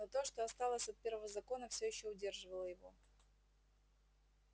но то что осталось от первого закона все ещё удерживало его